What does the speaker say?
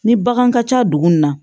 Ni bagan ka ca dugu in na